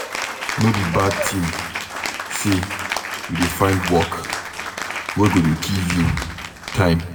No be bad tin sey you dey find work wey go dey give you time.